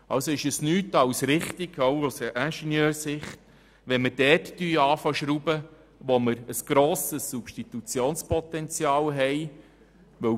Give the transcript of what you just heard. Es ist auch aus Ingenieursicht richtig, dort mit Sparen zu beginnen, wo ein grosses Substitutionspotenzial besteht.